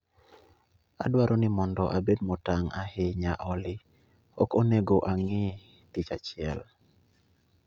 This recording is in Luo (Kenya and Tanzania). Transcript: Adwaro ni mondo abed motang' ahinya Olly, ok onego ang'i tich achiel